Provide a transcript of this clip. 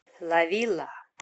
ла вилла